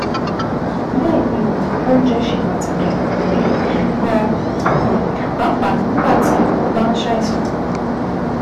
Bẹ́ẹ̀ ni o, oúnjẹ ṣe pàtàkì um gan-an, um pàápàá nígbà tó o bá ń ṣàìsàn